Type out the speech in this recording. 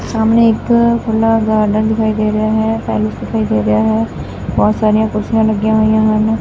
ਸਾਹਮਣੇ ਇੱਕ ਖੁੱਲ੍ਹਾ ਗਾਰਡਨ ਦਿਖਾਈ ਦੇ ਰਿਹਾ ਹੈ ਪੈਲੇਸ ਦਿਖਾਈ ਦੇ ਰਿਹਾ ਹੈ ਬੋਹੁਤ ਸਾਰੀਆਂ ਕੁਰਸੀਆਂ ਲੱਗੀਆਂ ਹੋਈਆਂ ਹਨ।